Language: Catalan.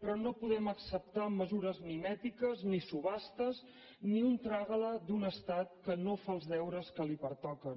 però no podem acceptar mesures mimètiques ni subhastes ni un trágala d’un estat que no fa els deures que li pertoquen